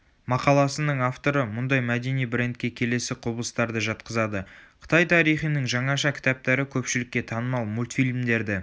мақаласының авторы мұндай мәдени брендке келесі құбылыстарды жатқызады қытай тарихының жаңаша кітаптары көпшілікке танымал мультфильмдерді